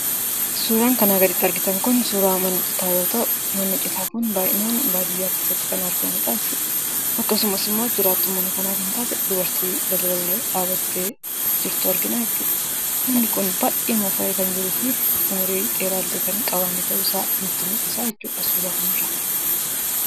Suuraan kana gaditti argitan kun suuraa mana citaa yoo ta'u, manni citaa kun baay'inaan baadiyyaa keessatti kan argamudha jechuudha. Akkasumas jiraattuu mana kanaa kan taate dubartii balbalarra dhaabbattee jirtu argina jechuudha. Manni kun baay'ee moofa'ee kan jiruu fi umurii dheeraa illee akka hin qabaanne nutti mul'isa jechuudha suura kanarraa.